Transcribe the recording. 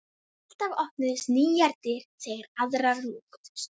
Alltaf opnuðust nýjar dyr þegar aðrar lokuðust.